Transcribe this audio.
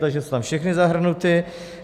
Takže jsou tam všechny zahrnuty.